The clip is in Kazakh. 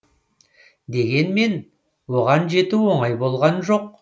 дегенмен оған жету оңай болған жоқ